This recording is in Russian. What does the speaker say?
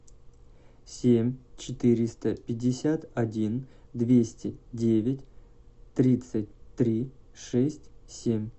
семь четыреста пятьдесят один двести девять тридцать три шесть семь